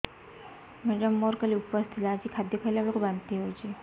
madam ମୋର କାଲି ଉପବାସ ଥିଲା ଆଜି ଖାଦ୍ୟ ଖାଇଲା ବେଳକୁ ବାନ୍ତି ହେଊଛି